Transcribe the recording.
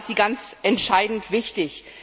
Da ist sie ganz entscheidend wichtig.